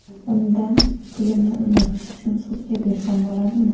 Undan pulimni undirish uchun sudga bersam bo‘ladimi?